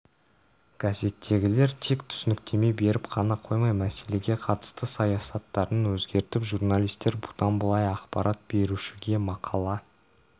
газеттегілер тек түсініктеме беріп қана қоймай мәселеге қатысты саясаттарын өзгертіп журналистер бұдан былай ақпарат берушіге мақала